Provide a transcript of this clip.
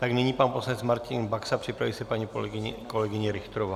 Tak nyní pan poslanec Martin Baxa, připraví se paní kolegyně Richterová.